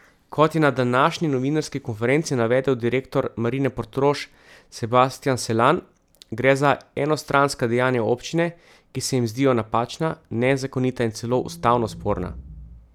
Kot je na današnji novinarski konferenci navedel direktor Marine Portorož Sebastjan Selan, gre za enostranska dejanja občine, ki se jim zdijo napačna, nezakonita in celo ustavno sporna.